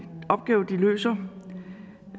opgave de løser